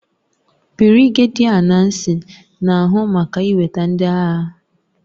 Birigedia Nnacy na-ahụ maka iweta ndị agha